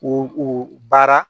U u baara